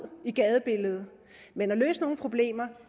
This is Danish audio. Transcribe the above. i gadebilledet men løse nogle problemer